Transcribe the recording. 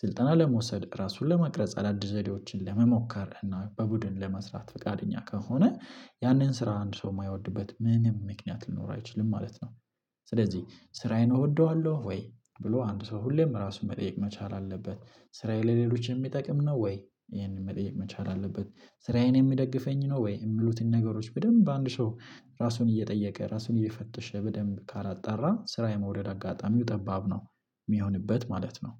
ስልጠና ለመውሰድ ራሱን ለመቅረጽ አዳዲስ ዘዴዎችን ለመሞከር እና በቡድን ለመስራት ፈቃደኛ ከሆነ። ያንን ስራ አንድ ሰው የማይወድበት ምንም ምክንያት ሊኖር አይችልም ማለት ነው። ስለዚህ ስራዬን እወደዋለሁ ወይ ብሎ አንድ ሰው ሁሌም ራሱን መጠየቅ መቻል አለበት? ስራዬ ለሌሎች የሚጠቅም ነው ወይ ይህንን መጠየቅ መቻል አለበት? ስራዬን የሚደግፈኝ ነው ወይ የሚሉትን ነገሮች በደንብ አንድ ሰው ራሱን እየጠየቀ ራሱን እየፈተሸ በደንብ ካላጣራ ስራ የመውድድ አጋጣሚው ጠባብ ነው። የሚሆንበት ማለት ነው።